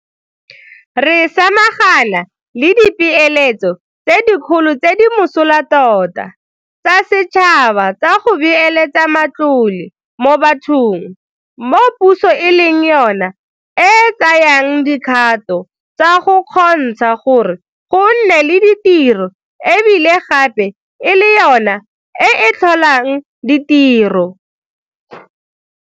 Re samagana le dipeeletso tse dikgolo tse di mosola tota tsa setšhaba tsa go beeletsa matlole mo bathong, mo puso e leng yona e tsayang dikgato tsa go kgontsha gore go nne le ditiro e bile gape e le yona e e tlholang ditiro.